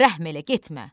Rəhm elə getmə.